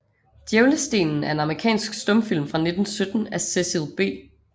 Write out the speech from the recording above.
Djævlestenen er en amerikansk stumfilm fra 1917 af Cecil B